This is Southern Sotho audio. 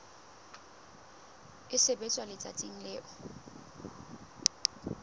e sebetswa letsatsing leo e